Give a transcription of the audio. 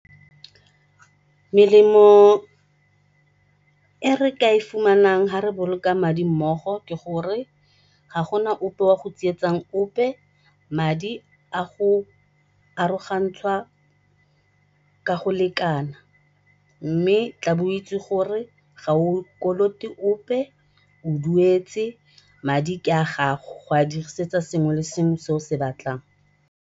Melemo e re ka e fumanang ga re boloka madi mmogo ke gore ga gona ope o yang go tsietsa ope, madi a go arogantshwa ka go lekana. Mme tlabe o itse gore ga o kolote ope o duetse madi ke a gago go a dirisetsa sengwe le sengwe se o se batlang.